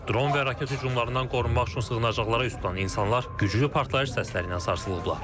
Dron və raket hücumlarından qorunmaq üçün sığınacaqlara üz tutan insanlar güclü partlayış səsləri ilə sarsılıblar.